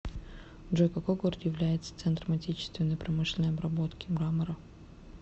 джой какой город является центром отечественной промышленной обработки мрамора